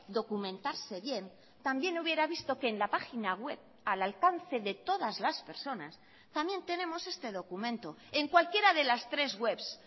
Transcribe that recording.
documentarse bien también hubiera visto que en la página web al alcance de todas las personas también tenemos este documento en cualquiera de las tres webs